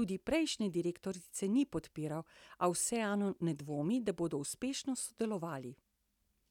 tudi prejšnje direktorice ni podpiral, a vseeno ne dvomi, da bodo uspešno sodelovali.